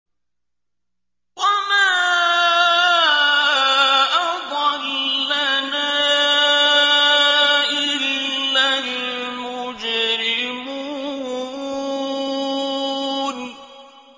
وَمَا أَضَلَّنَا إِلَّا الْمُجْرِمُونَ